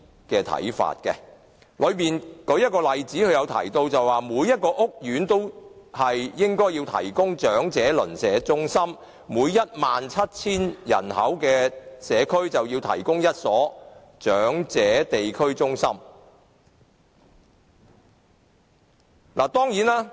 該報告提到一個例子，每個屋苑都應該提供長者鄰舍中心，每 17,000 人口的社區就要提供1所長者地區中心。